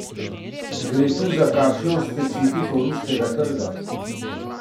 Gre tu za kakšno specifiko ruskega trga?